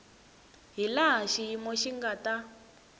hilaha xiyimo xi nga ta